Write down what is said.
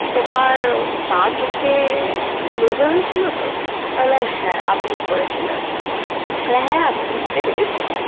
তোমার বাঁ চোখে laser হয়েছিলো তো? আমি বললাম হ্যাঁ, আপনিই করেছিলেন। ও হ্যাঁ আমি বুঝতে পেরেছি।